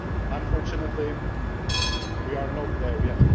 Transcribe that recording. OSCE. Unfortunately, we are not there